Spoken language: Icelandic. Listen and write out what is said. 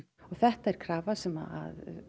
og þetta er krafa sem